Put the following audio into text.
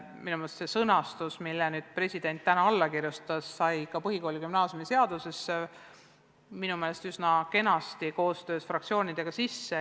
Minu meelest sai see sõnastus, millele president täna alla kirjutas, põhikooli- ja gümnaasiumiseadusesse koostöös fraktsioonidega üsna kenasti kirja.